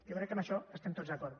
jo crec que amb això hi estem tots d’acord